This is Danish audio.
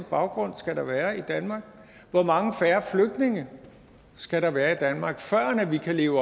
baggrund skal der være i danmark hvor mange færre flygtninge skal der være i danmark før vi kan leve